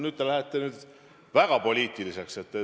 Nüüd te lähete väga poliitiliseks.